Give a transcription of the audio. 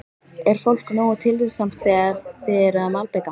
Er fólk nógu tillitsamt þegar þið eruð að malbika?